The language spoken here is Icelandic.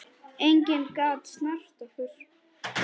Enginn gat snert okkur.